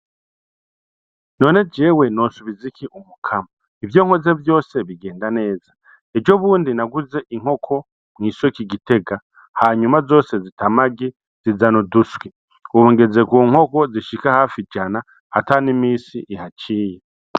None jewe nosubiza iki Umukama? Ivyo nkoze vyose bigenda neza! Ejo bundi naguze inkoko mw'isoko i Gitega hanyuma zose zita amagi zizana uduswi, ubu ngeze ku nkoko zishika hafi ijana ata n'imisi ihaciye.